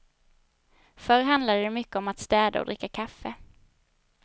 Förr handlade det mycket om att städa och dricka kaffe.